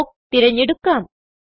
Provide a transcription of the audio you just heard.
block തിരഞ്ഞെടുക്കാം